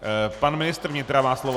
Pan ministr vnitra má slovo.